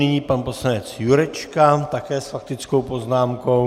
Nyní pan poslanec Jurečka také s faktickou poznámkou.